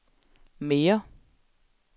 mere